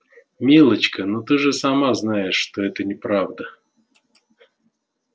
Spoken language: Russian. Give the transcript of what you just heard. милочка но ты же сама знаешь что это неправда